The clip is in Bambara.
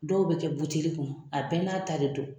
Dɔw bɛ kɛ buteli kɔnɔ a bɛɛ n'a ta de don